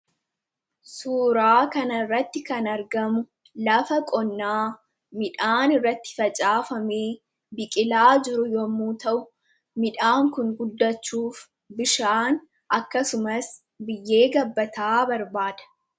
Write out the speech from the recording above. Suuraa kana irratti kan argamu, lafa qonnaa midhaan irratti facaafamee biqilaa jiru yemmuu ta'u, midhaan Kun guddachuuf bishaan akkasumas biyyee gabbataa barbaada.